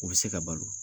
U bɛ se ka balo